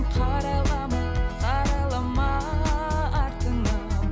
қарайлама қарайлама артыңа